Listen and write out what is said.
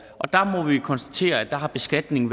og der må vi konstatere at beskatningen